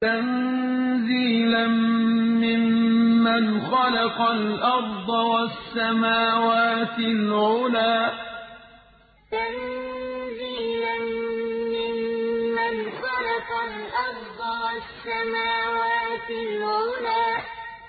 تَنزِيلًا مِّمَّنْ خَلَقَ الْأَرْضَ وَالسَّمَاوَاتِ الْعُلَى تَنزِيلًا مِّمَّنْ خَلَقَ الْأَرْضَ وَالسَّمَاوَاتِ الْعُلَى